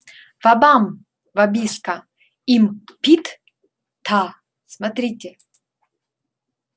вабам вабиска им пит та смотрите